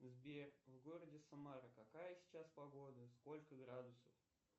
сбер в городе самара какая сейчас погода сколько градусов